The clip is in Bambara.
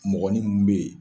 Mɔgɔnin mun bɛ yen